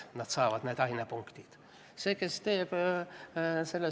Nad saavad need ainepunktid osalemise eest.